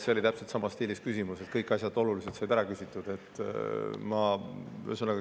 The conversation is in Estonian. " See oli täpselt samas stiilis küsimus, kus kõik olulised asjad said ära küsitud.